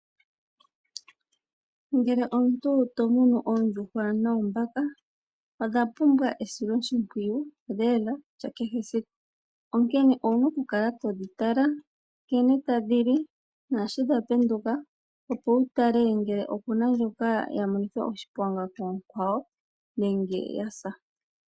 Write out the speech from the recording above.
Ngele omuntu to munu oondjuhwa noombaka, odha pumbwa esiloshimpwiyu lela lya kehe siku. Onkene owu na okukala todhi tala nkene tadhi li naashi dha penduka, opo wu tale ngele opu na ndjoka ya monithwa oshiponga koonkwawo nenge ya sa.